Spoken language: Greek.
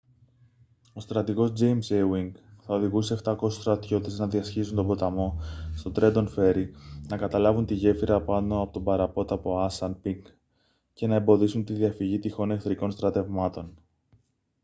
ο στρατηγός τζέιμς έουινγκ θα οδηγούσε 700 στρατιώτες να διασχίσουν τον ποταμό στο τρέντον φέρι να καταλάβουν τη γέφυρα πάνω από τον παραπόταμο ασάνπινκ και να εμποδίσουν τη διαφυγή τυχόν εχθρικών στρατευμάτων